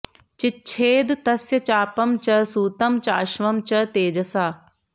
चिच्छेद तस्य चापं च सूतं चाश्वं च तेजसा